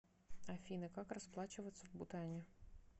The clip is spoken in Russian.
афина как расплачиваться в бутане